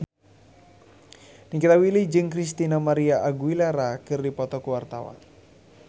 Nikita Willy jeung Christina María Aguilera keur dipoto ku wartawan